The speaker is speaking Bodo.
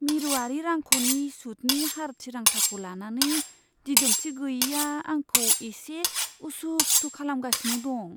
मिरुआरि रांख'नि सुतनि हार थिरांथाखौ लानानै दिदोमथि गैयैआ आंखौ एसे उसु खुथु खालामगासिनो दं।